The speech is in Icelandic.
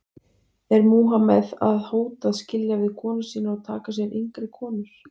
Er Múhameð að hóta að skilja við konur sínar og taka sér yngri konur?